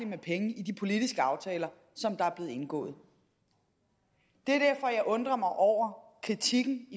med penge i de politiske aftaler som er blevet indgået det er derfor jeg undrer mig over kritikken